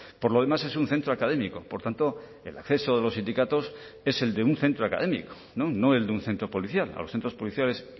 por lo demás es un centro académico por tanto el acceso de los sindicatos es el de un centro académico no el de un centro policial a los centros policiales